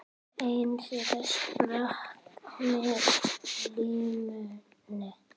Einn þeirra sprakk á limminu